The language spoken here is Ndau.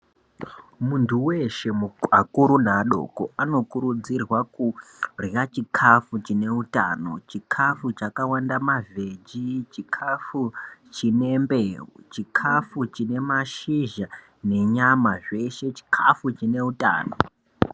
Muntu weshe akuru neadoko anokurudzirwa kurya chikafu chine utano chikafu chakawanda mavheji chikafu chine mbeu chikafu chine mashizha nenyama zveshe chikafu chine utano.